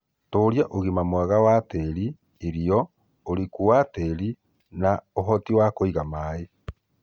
Tũũria ũgima mwega wa tĩĩri, irio, ũriku wa tĩĩri na ũhoti kũiga maĩĩ